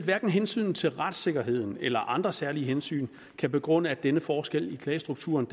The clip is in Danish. hverken hensynet til retssikkerheden eller andre særlige hensyn kan begrunde at denne forskel i klagestrukturen